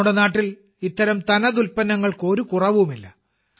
നമ്മുടെ നാട്ടിൽ ഇത്തരം തനത് ഉൽപ്പന്നങ്ങൾക്ക് ഒരു കുറവുമില്ല